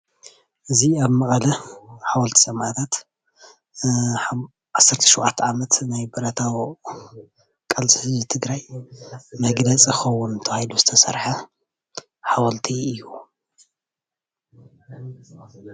እዚ ኣብ መቐለ ሓወልቲ ሰማእታት 17 ዓመት ናይ ብረታዊ ቃልሲ ህዝቢ ትግራይ መግለፂ ክከውን ተባሂሉ ዝተሰርሓ ሓወልቲ እዩ፡፡